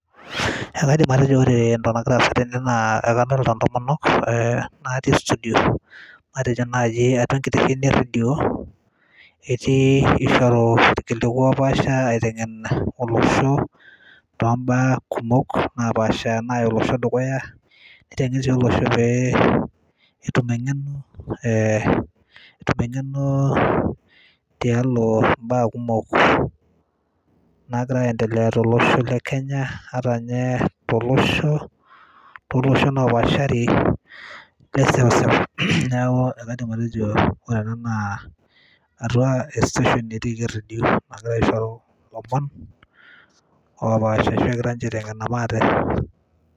ekaidim atejo ore entoki nagira aasa tene naa ekadolta intomonok eh, natii studio eh matejo naaji atua enkitesheni errendio etii ishoru irkiliku opaasha aiteng'en olosho tombaa kumok napaasha naya olosho dukuya niteng'en sii olosho pee etum eng'eno eh etum eng'eno tialo imbaa kumok nagira aendelea tolosho le kenya ata ninye tolosho, toloshon opaashari le sewsew neeku ekaidim atejo ore ena naa atua e station etiiki errendio nagirae aishoru ilomon opaasha ashu egira ninche aiteng'ena maate.